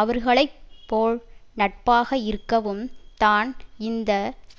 அவர்களை போல் நட்பாக இருக்கவும் தான் இந்த